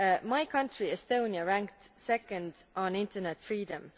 My country, Estonia, ranked second on internet freedom.